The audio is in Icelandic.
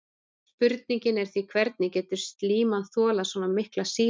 Spurningin er því hvernig getur slíman þolað svona mikla sýru?